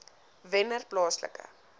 wennerplaaslike